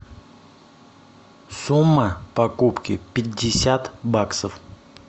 сумма покупки пятьдесят баксов